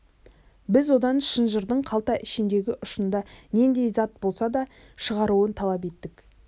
біз одан шынжырдың қалта ішіндегі ұшында нендей зат болса да шығаруын талап еттік